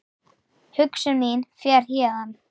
Hugsun mín fer héðan.